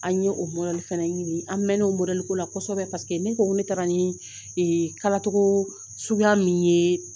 An ye o fana ɲini an mɛɛnna o ko la kɔsɔbɛ ne ko ne taara ni kalacogo suguya min ye